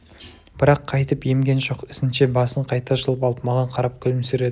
бірақ қайтып емген жоқ ізінше басын қайта жұлып алып маған қарап күлімсіреді